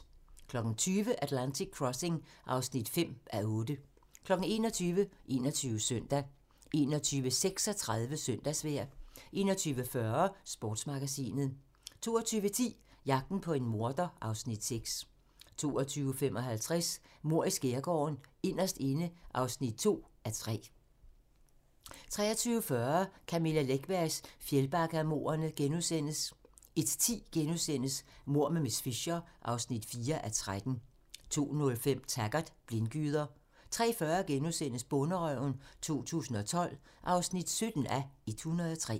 20:00: Atlantic Crossing (5:8) 21:00: 21 Søndag 21:36: Søndagsvejr 21:40: Sportsmagasinet 22:10: Jagten på en morder (Afs. 6) 22:55: Mord i Skærgården: Inderst inde (2:3) 23:40: Camilla Läckbergs Fjällbackamordene * 01:10: Mord med miss Fisher (4:13)* 02:05: Taggart: Blindgyder 03:40: Bonderøven 2012 (17:103)*